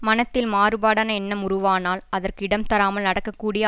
மனத்தில் மாறுபாடான எண்ணம் உருவானால் அதற்கு இடம் தராமல் நடக்கக்கூடிய